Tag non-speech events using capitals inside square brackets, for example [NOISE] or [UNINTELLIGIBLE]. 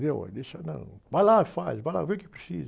Viu? [UNINTELLIGIBLE] deixa... [UNINTELLIGIBLE] Vai lá, faz, vá, vê o que precisa.